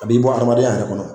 A b'i bɔ hadamadenya yɛrɛ kɔnɔ.